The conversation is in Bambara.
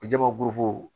Jamakulu